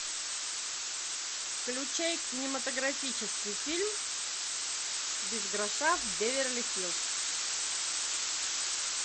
включай кинематографический фильм без гроша в беверли хиллз